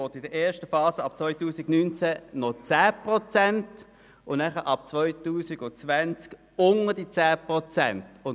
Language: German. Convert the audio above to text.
In der ersten Phase ab 2019 will man 10 Prozent abzweigen und ab 2020 unter diese 10 Prozent gehen.